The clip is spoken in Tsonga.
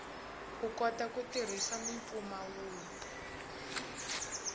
u kota ku tirhisa mimpfumawulo